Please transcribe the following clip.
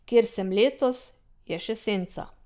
Kjer sem letos, je še senca.